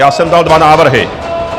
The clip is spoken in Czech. Já jsem dal dva návrhy.